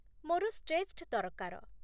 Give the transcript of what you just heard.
ମୋର ଷ୍ଟ୍ରେଚ୍‌ଡ଼୍ ଦରକାର ।